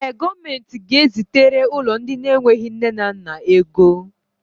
Ee, gọọmenti ga-ezitere ụlọ ndị enwe nne na nna ego